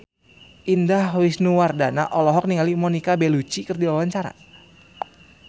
Indah Wisnuwardana olohok ningali Monica Belluci keur diwawancara